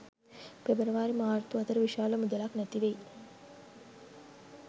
පෙබරවාරි මාර්තු අතර විශාල මුදලක් නැතිවෙයි.